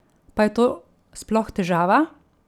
Pa je to sploh težava?